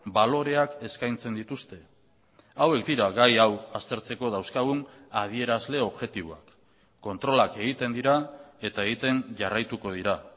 baloreak eskaintzen dituzte hauek dira gai hau aztertzeko dauzkagun adierazle objektiboak kontrolak egiten dira eta egiten jarraituko dira